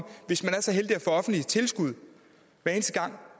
hvis man er så heldig at få offentligt tilskud hver eneste gang